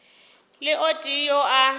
le o tee yo a